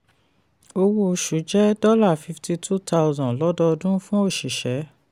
owó oṣù jẹ́ fifty two thousand dollars lọ́dọọdún fún òṣìṣẹ́.